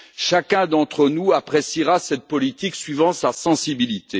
Chacun d'entre nous appréciera cette politique suivant sa sensibilité.